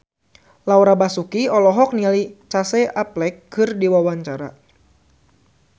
Laura Basuki olohok ningali Casey Affleck keur diwawancara